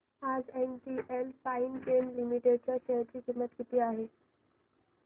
आज NGL Finechem limited च्या share ची किंमत किती आहे